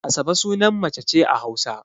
Asabe sunan mace ce a Hausa.